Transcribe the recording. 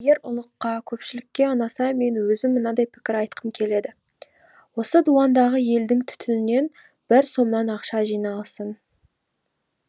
егер ұлыққа көпшілікке ұнаса мен өзім мынадай пікір айтқым келеді осы дуандағы елдің түтінінен бір сомнан ақша жиналсын